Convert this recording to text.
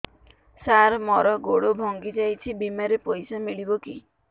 ସାର ମର ଗୋଡ ଭଙ୍ଗି ଯାଇ ଛି ବିମାରେ ପଇସା ମିଳିବ କି